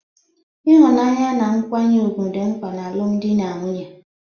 Ịhụnanya na nkwanye ùgwù dị mkpa n'alụmdi na nwunye.